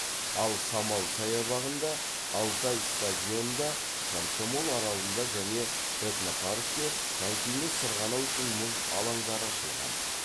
ал самал саябағында алтай стадионында комсомол аралында және этнопаркте конькимен сырғанау үшін мұз алаңдары ашылған